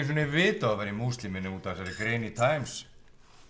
sinni vita að þú værir múslimi nema út af þessari grein í Times